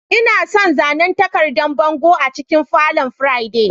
Ina son zanen takardan bango a cikin falon Friday.